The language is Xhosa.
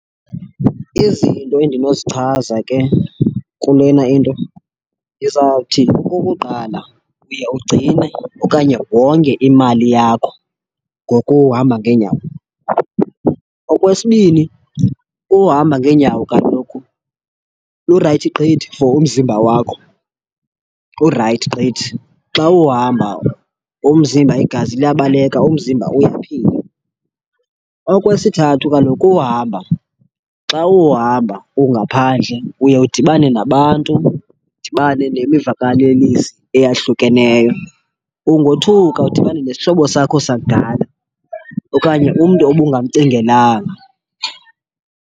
Izinto endinozichaza ke kulena into, ndizawuthi okokuqala uye ugcine okanye wonge imali yakho ngokuhamba ngeenyawo. Okwesibini, uhamba ngeenyawo kaloku lurayithi gqithi for umzimba wakho, kurayithi gqithi xa uhamba umzimba, igazi liyabaleka, umzimba uyaphila. Okwesithathu, kaloku uhamba xa uhamba ungaphandle uye udibane nabantu, udibane nemivakalelisi eyahlukeneyo. Ungothuka udibane nesihlobo sakho sakudala, okanye umntu obungamcingelanga.